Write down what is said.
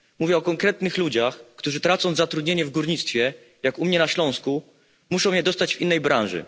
Mówię o konkretnych ludziach, którzy, tracąc zatrudnienie w górnictwie, jak u mnie na Śląsku, muszą je dostać w innej branży.